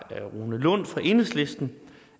rune lund fra enhedslisten